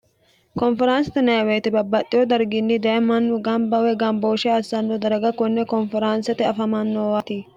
konferaansa tunayeweyite babbaxxeyo darginni daye mannu gambawe gambooshe assanno daraga konne konferaansete afamannoowati